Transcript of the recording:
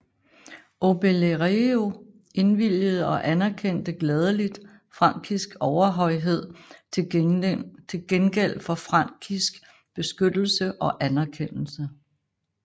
Obelerio indvilgede og anerkendte gladeligt frankisk overhøjhed til gengæld for frankisk beskyttelse og anerkendelse